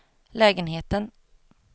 lägenheten